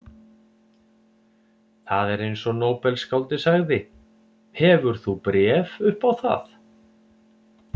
Það er eins og nóbelsskáldið sagði: Hefur þú bréf upp á það?